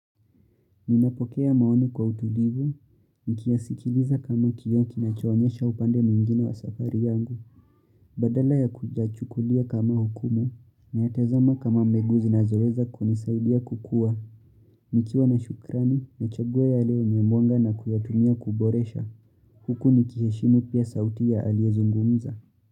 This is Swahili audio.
Ninapokea maoni kwa utulivu, nikiasikiliza kama kioo kinachoonyesha upande mingine wa safari yangu, badala ya kuyachukulia kama hukumu, naya tazama kama miguu zinazoweza kunisaidia kukua, nikiwa na shukrani na chagua yale yenye mwanga na kuyatumia kuboresha, huku nikiheshimu pia sauti ya aliyezungumza.